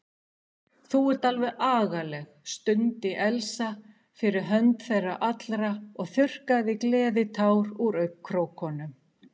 Þú ert alveg agaleg stundi Elsa fyrir hönd þeirra allra og þurrkaði gleðitár úr augnkrókunum.